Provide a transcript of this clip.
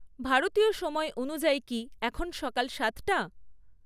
ভারতীয় সময় অনুযায়ী কি এখন সকাল সাতটা?